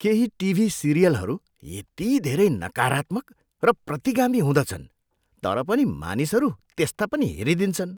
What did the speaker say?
केही टिभी सिरियलहरू यति धेरै नकारात्मक र प्रतिगामी हुँदछन् तर पनि मानिसहरू त्यस्ता पनि हेरिदिन्छन्।